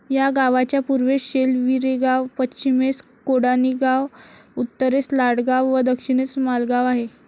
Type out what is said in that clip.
या गावाच्या पूर्वेस शेलवीरेगाव, पश्चिमेस कोडाणीगाव, उत्तरेस लाडगाव व दक्षिणेस मालगाव आहे.